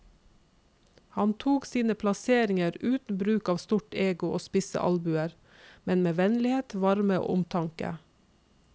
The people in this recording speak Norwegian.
Han tok sine plasseringer uten bruk av stort ego og spisse albuer, men med vennlighet, varme og omtanke.